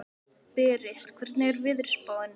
Berit, hvernig er veðurspáin?